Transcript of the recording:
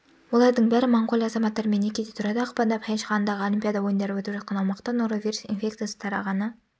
олардың бәрі моңғолия азаматтарымен некеде тұрады ақпанда пхенчхандағы олимпиада ойындары өтіп жатқан аумақта норовирус инфекциясы тарағаны